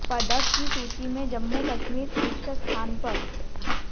पदक की सूची में जम्मू कश्मीर शीर्ष स्थान पर